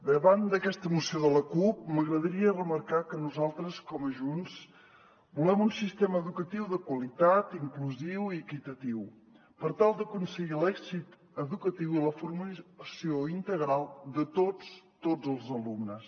davant d’aquesta moció de la cup m’agradaria remarcar que nosaltres com a junts volem un sistema educatiu de qualitat inclusiu i equitatiu per tal d’aconseguir l’èxit educatiu i la formació integral de tots tots els alumnes